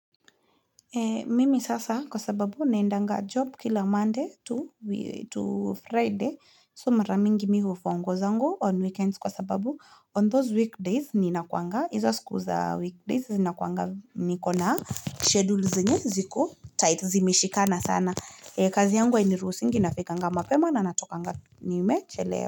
Mimi sasa kwa sababu naendanga job kila Monday to Friday so mara mingi mi hufua nguo zangu on weekends kwa sababu on those weekdays ninakuwanga hizo siku za weekdays ninakuwanga niko na schedule zenye ziku tight zimeshikana sana kazi yangu hainiruhusingi nafikanga mapema na natokanga nimechelewa.